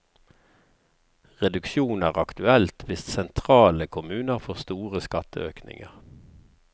Reduksjon er aktuelt hvis sentrale kommuner får store skatteøkninger.